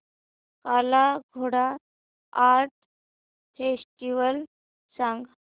काला Ghoda art festival सांग